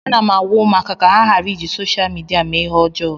Ana m agwa ụmụaka ka ha ghara iji sosha midia mee ihe ọjọọ